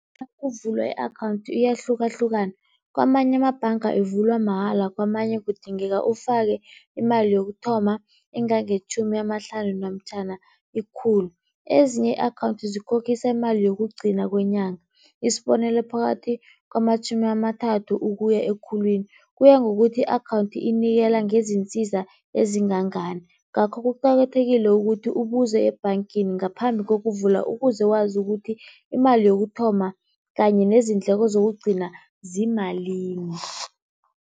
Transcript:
Nakuvulwa i-akhawunthi iyahlukahlukana kamanye amabhanga ivulwa mahala, kamanye kudingeka ufake imali yokuthoma engangetjhumi amahlanu namtjhana ikhulu. Ezinye i-akhawunthi zikhokhisa imali yokugcina kwenyanga, isibonelo, phakathi kwamatjhumi amathathu ukuya ekhulwini, kuya ngokuthi i-akhawunthi inikela ngezinsiza ezingangani. Ngakho kuqakathekile ukuthi ubuze ebhangeni ngaphambi kokuvula, ukuze wazi ukuthi imali yokuthoma kanye nezindleko zokugcina ziyimalini.